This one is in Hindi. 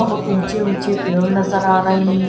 बहुत ऊंचे ऊंचे पेड़ नजर आ रहे हैं ।